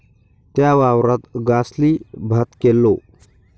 त्या वावरात गासली भात केल्लो